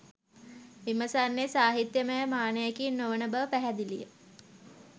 විමසන්නේ සාහිත්‍යයමය මානයකින් නො වන බව පැහැදිලි ය